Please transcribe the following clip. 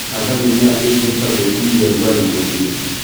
Handa mimera ĩngihota gwĩtiria rugarĩ mũingĩ.